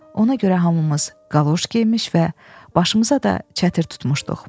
Ona görə hamımız qaloş geymiş və başımıza da çətir tutmuşduq.